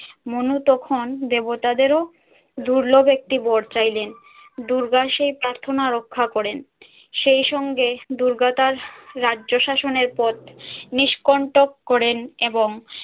মনু তখন দেবতাদের ও দুর্লভ একটি বর চাইলেন। দুর্গা সেই প্রার্থনা রক্ষা করেন, সেই সঙ্গে দুর্গা তার রাজ্য শাসনের পথ নিষ্কণ্টক করেন এবং